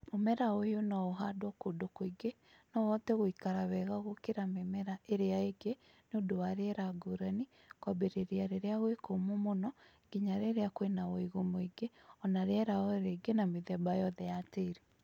Mũmera ũyũ no ũhandwo kũndũ kũingĩ ,no ũhote gũikara wega gũkĩra mĩmera ĩrĩa ĩngĩ niũndũ wa rĩera ngũrani, kwambĩrĩria rĩrĩa gwĩ kũmũ mũno nginya rĩrĩa kwĩna wũigũ mũingĩ, na rĩera o rĩ gĩ na mĩthemba yothe ya tĩĩri